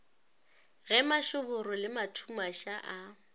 ge mašoboro le mathumaša a